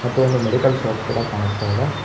ಮತ್ತು ಒಂದು medical shop ಕೂಡ ಕಾಣಿಸ್ತಾ ಇದೆ.